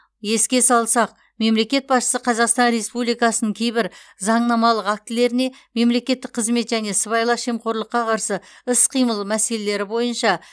еске салсақ мемлекет басшысы қазақстан республикасының кейбір заңнамалық актілеріне мемлекеттік қызмет және сыбайлас жемқорлыққа қарсы іс қимыл мәселелері бойынша